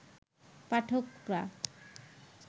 পাঠকরা